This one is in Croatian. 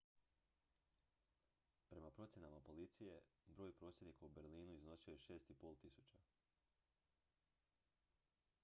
prema procjenama policije broj prosvjednika u berlinu iznosio je 6500